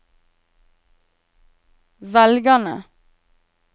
velgerne